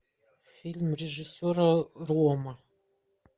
фильм режиссера ромма